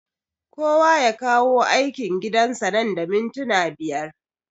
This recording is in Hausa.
Kowa ya kawo aikin gidan sa nan da mintuna biyar